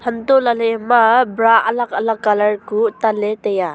hantoh lahley ama bra alag alag colour kuh tanley taiya.